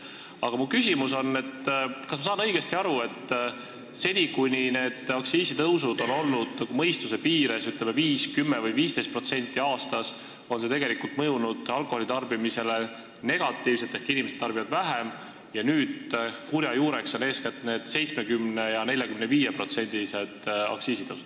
Aga mu küsimus on, et kas ma saan õigesti aru, et seni, kuni need aktsiisitõusud olid mõistuse piires, 5, 10 või 15% aastas, mõjusid need alkoholi tarbimisele negatiivselt ehk inimesed tarbisid vähem – kurja juureks on nüüd eeskätt need 70%- ja 45%-lised aktsiisitõusud.